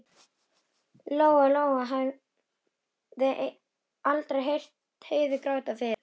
Lóa-Lóa hafði aldrei heyrt Heiðu gráta fyrr.